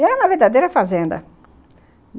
E era uma verdadeira fazenda.